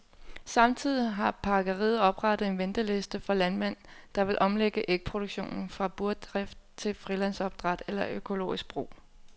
Samtidig har pakkeriet oprettet en venteliste for landmænd, der vil omlægge ægproduktionen fra burdrift til frilandsopdræt eller økologisk brug.